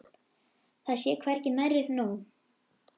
Það sé hvergi nærri nóg.